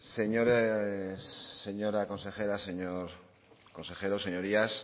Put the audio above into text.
señores señora consejera señor consejero señorías